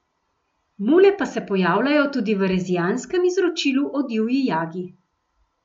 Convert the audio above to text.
Mule pa se pojavljajo tudi v rezijanskem izročilu o divji jagi.